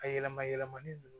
A yɛlɛma yɛlɛmali nunnu